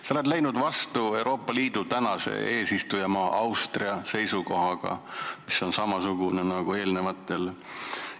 Sa ei jaga Euroopa Liidu eesistujamaa Austria seisukohta, mis on samasugune nagu eelnimetatutel.